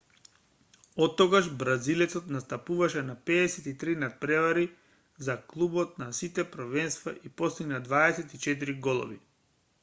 оттогаш бразилецот настапуваше на 53 натпревари за клубот на сите првенства и постигна 24 голови